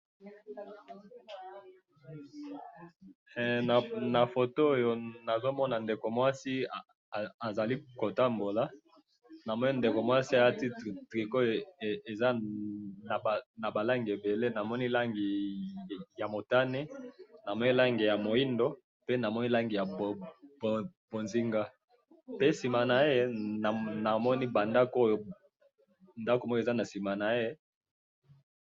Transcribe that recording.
eeeeh! na photo oyo nazo mona ndeko mwasi azali ko tambola na moni ndekomwasi a lati tricot eza na ba langi ebele na moni langi ya motane na moni langi ya moyindo po na moni langi ya bonzinga pe sima na ye na moni ba ndaku ndakumoko eza na sima naye